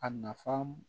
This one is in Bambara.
A nafa